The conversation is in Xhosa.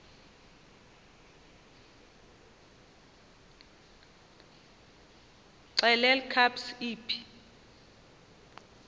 xelel kabs iphi